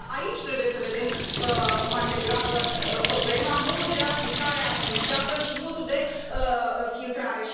Eu cred că aici trebuie să vedem, mai degrabă, problema, modul de aplicare armonizată și modul de filtrare.